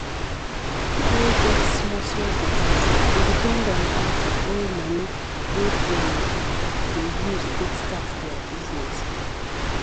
pipo wey get small small business dey depend on bank to borrow money wey dem go use take start their business